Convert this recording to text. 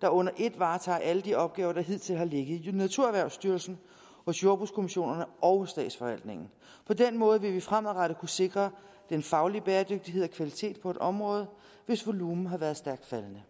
der under et varetager alle de opgaver der hidtil har ligget i naturerhvervsstyrelsen hos jordbrugskommissionerne og hos statsforvaltningen på den måde vil vi fremadrettet kunne sikre den faglige bæredygtighed og kvalitet på et område hvis volumen har været stærkt faldende